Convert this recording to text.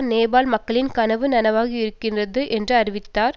நேபாள மக்களின் கனவு நனவாகி இருக்கிறது என்று அறிவித்தார்